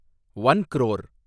one crore